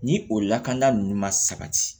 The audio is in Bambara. Ni o lakana ninnu ma sabati